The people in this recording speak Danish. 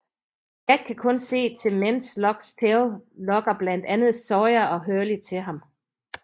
Jack kan kun se til mens Lockes tale lokker blandt andet Sawyer og Hurley til ham